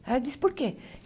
Ela disse, por quê?